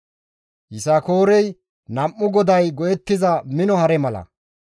«Yisakoorey nam7u goday go7ettiza mino hare mala.